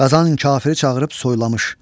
Qazan kafiri çağırıb soylamış.